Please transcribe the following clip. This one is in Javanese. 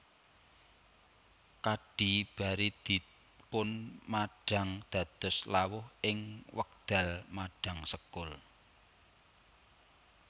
Kadhi bari dipunmadhang dados lawuh ing wekdal madhang sekul